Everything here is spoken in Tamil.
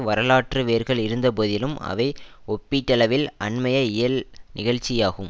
வரலாற்று வேர்கள் இருந்த போதிலும் அவை ஒப்பீட்டளவில் அண்மைய இயல் நிகழ்ச்சியாகும்